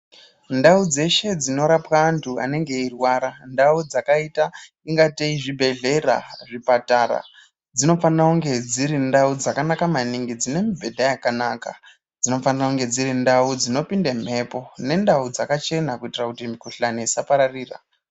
Ndau dzeshe dzinorapwa antu anenge eirwara, ndau dzakaita kungatei zvibhedhlera, zvipatara dzinofanira kunge dziri ndau dzakanaka maningi, dzine mibhedha yakanaka, dzinofane kunge dziri ndau dzinopinde mhepo, nendawu dzakachena kuitira kuti mikuhlani isapararira.